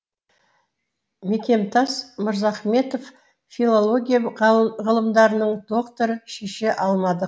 мекемтас мырзахметов филология ғылымдарының докторы шеше алмадық